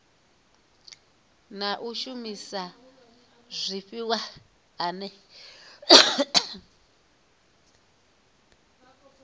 na u shumisa zwifhiwa ane